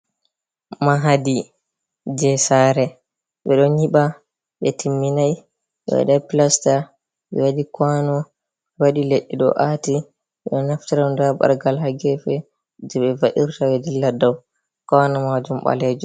Mahdi je sare ɓe ɗon nyiiɓa ɓe timminai ɓe waɗai plasta ɓe waɗi kwano ɓe waɗi leɗɗe ɗo aati ɓeɗo naftara nda ɓargal ha gefe je ɓe va’irta ɓe dilla dau kano majum. baleju